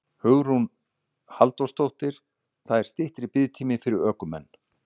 Hugrún Halldórsdóttir: Það er styttri biðtími fyrir ökumenn?